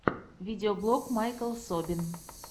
видеоблог майкл собин